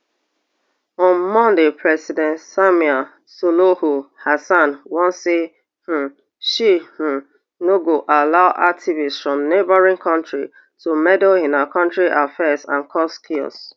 on monday president samia suluhu hassan warn say um she um no go allow activists from neighbouring kontri to meddle in her kontri affairs and cause chaos